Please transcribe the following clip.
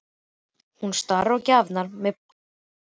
Hún starir á gjafirnar með gapandi munn.